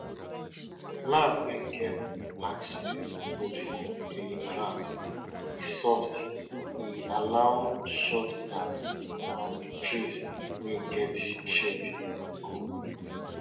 for our village them believe say if persin see owl for night na bad luck e bad luck e dey bring.